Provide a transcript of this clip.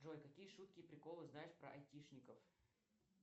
джой какие шутки и приколы знаешь про айтишников